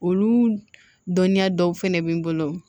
Olu dɔnniya dɔw fɛnɛ bɛ n bolo